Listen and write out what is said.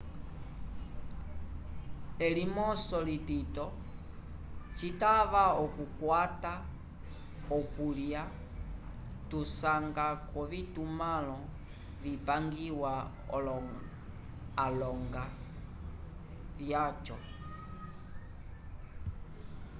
elimoso litito citava okukwata okulya tusanga k'ovitumãlo vipangiwa alonga vyaco